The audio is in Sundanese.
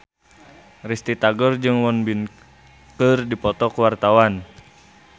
Risty Tagor jeung Won Bin keur dipoto ku wartawan